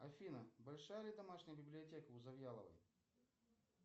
афина большая ли домашняя библиотека у завьяловой